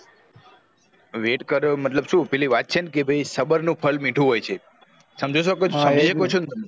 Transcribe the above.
wait કર્યો મતલબ શું પેલી વાત છે ને સબર નું ફ્ળ મીઠું હોય છે સમજી સકો છો ને